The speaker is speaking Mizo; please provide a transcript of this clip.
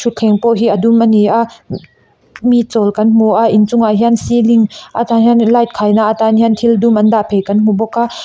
thleng pawh hi a dum ani a mi chawl kan hmu a inchungah hian ceiling aṭang hian light khaina atan hian thil dum an dah phei kan hmu bawk a.